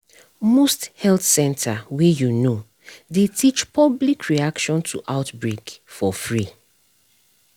most health center wey you know dey teach public reaction to outbreak for free